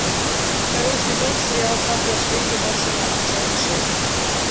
второй сезон сериала как я встретил вашу маму часть шесть